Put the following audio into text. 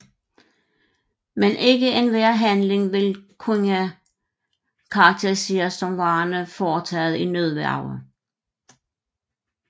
Men ikke enhver handling vil kunne karakteriseres som værende foretaget i nødværge